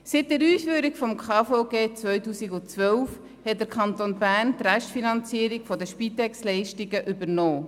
Seit der Einführung des Bundesgesetzes über die Krankenversicherung (KVG) hat der Kanton Bern 2012 die Restfinanzierung der Spitex-Leistungen übernommen.